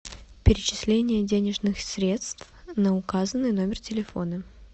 перечисление денежных средств на указанный номер телефона